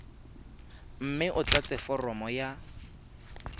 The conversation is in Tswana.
mme o tlatse foromo ya